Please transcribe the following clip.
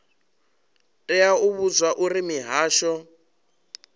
tea u vhudzwa uri mihasho